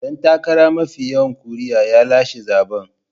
Dan takara mafi yawan ƙuri'u ya lashe zabe.